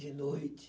De noite.